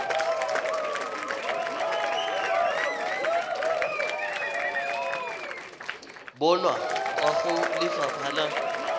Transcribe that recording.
bonwa kwa go lefapha la